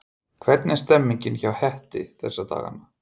Hvernig er stemningin hjá Hetti þessa dagana?